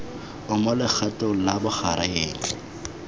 o mo legatong la bogareng